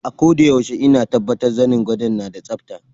Akoda yaushe ina tabbatar zanin gwado na yana da tsabta.